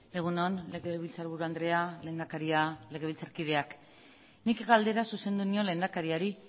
egun on legebiltzarburu andrea lehendakaria legebiltzarkideak nik galdera zuzendu nion lehendakariari